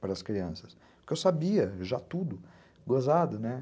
para as crianças, porque eu sabia já tudo, gozado, né?